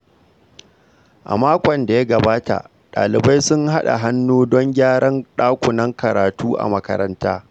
A makon da ya gabata, dalibai sun haɗa hannu don gyaran dakunan karatu a makaranta.